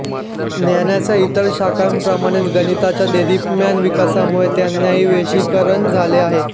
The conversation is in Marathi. ज्ञानाच्या इतर शाखांप्रमाणेच गणिताच्या देदीप्यमान विकासामुळे त्यांतही वैशेषीकरण झाले आहे